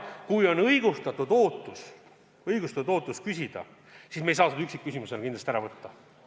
Kui on õigustatud ootus küsida, siis me ei saa seda üksikküsimusena kindlasti ära võtta.